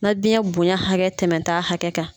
Na biyɛn bonya hakɛ tɛmɛ t'a hakɛ kan.